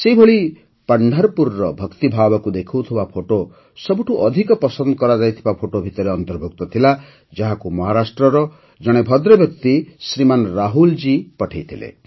ସେହିପରି ପଣ୍ଢର୍ପୁରର ଭକ୍ତିଭାବକୁ ଦେଖାଉଥିବା ଫଟୋ ସବୁଠୁ ଅଧିକ ପସନ୍ଦ କରାଯାଇଥିବା ଫଟୋ ଭିତରେ ଅନ୍ତର୍ଭୁକ୍ତ ଥିଲା ଯାହାକୁ ମହାରାଷ୍ଟ୍ରର ହିଁ ଜଣେ ଭଦ୍ରବ୍ୟକ୍ତି ଶ୍ରୀମାନ ରାହୁଲ ଜୀ ପଠାଇଥିଲେ